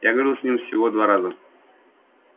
я говорил с ними всего два раза